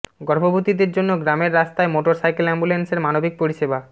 গর্ভবতীদের জন্য গ্রামের রাস্তায় মোটর সাইকেল অ্যাম্বুলেন্সের মানবিক পরিষেবা